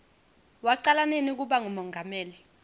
wacala nini kuba ngumongameli